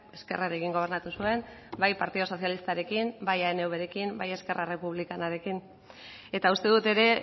ezkerrarekin gobernatu zuen bai partidu sozialistarekin bai anvrekin bai esquerra republicanarekin eta uste dut ere